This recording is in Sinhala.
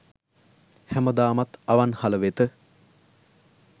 හැමදාමත් අවන්හල වෙත